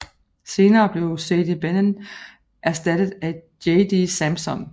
Senere blev Sadie Benning erstattet af JD Samson